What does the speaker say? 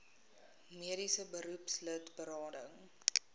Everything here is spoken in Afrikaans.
mediese beroepslid berading